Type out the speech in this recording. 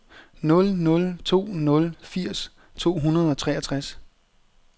nul nul to nul firs to hundrede og treogtres